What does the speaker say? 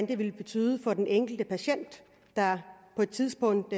det vil betyde for den enkelte patient der på et tidspunkt